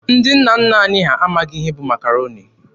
Ndị nna nna anyị ha amaghị ihe bụ Makaroni.